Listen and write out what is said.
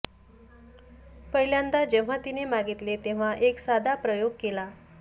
पहिल्यांदा जेंव्हा तिने मागितले तेंव्हा एक साधा प्रयूग केला